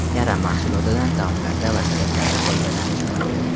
Karam mahsulotidan taomlarda va salatlarda foydalanish mumkin.